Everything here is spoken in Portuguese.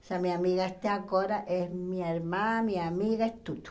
Essa minha amiga até agora é minha irmã, minha amiga, é tudo.